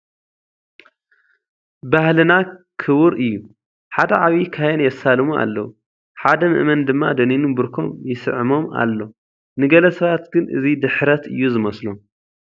ባህልና ክቡር እዩ፡፡ ሓደ ዓብዪ ካህን የሳልሙ ኣለዉ፡፡ ሓደ ምእመን ድማ ደኒኑ ብርኮም ይስዕሞም ኣሎ፡፡ ንገለ ሰባት ግን እዚ ድሕረት እዩ ዝመስሎም፡፡